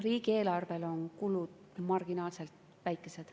Riigieelarvele on kulud marginaalselt väikesed.